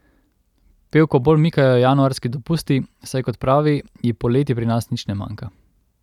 Pevko bolj mikajo januarski dopusti, saj kot pravi, ji poleti pri nas nič ne manjka.